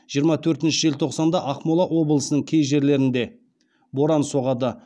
жиырма төртінші желтоқсанда ақмола облысының кей жерлерінде боран соғады